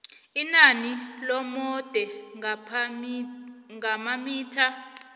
inani lobude ngamamitha